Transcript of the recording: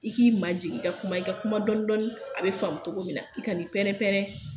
I k'i ma jigin i ka kuma i ka kuma dɔɔni dɔɔni a bɛ faamu togo min na i ka ni pɛrɛ-pɛrɛ.